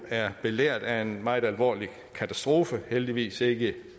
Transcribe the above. belært af en meget alvorlig katastrofe heldigvis ikke